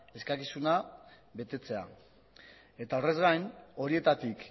eskakizuna betetzea eta horrez gain horietatik